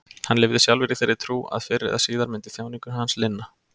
Hann lifði sjálfur í þeirri trú að fyrr eða síðar myndi þjáningum hans linna.